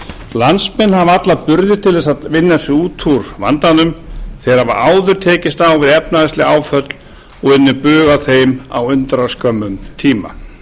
landsmenn hafa alla burði til þess að vinna sig út úr vandanum þeir hafa áður tekist á við efnahagsleg áföll og unnið bug á þeim á undraskömmum tíma